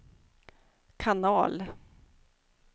kanal